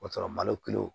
O y'a sɔrɔ malo kilo